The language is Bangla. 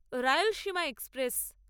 রায়লসীমা এক্সপ্রেস